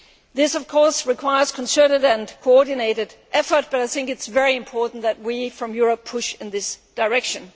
This of course requires concerted and coordinated effort, but I think it is very important that we in Europe push in this direction.